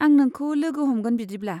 आं नोंखौ लोगो हमगोन बिदिब्ला।